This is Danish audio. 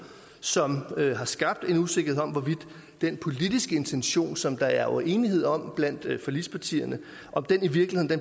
som har skabt en usikkerhed om hvorvidt den politiske intention som der er enighed om blandt forligspartierne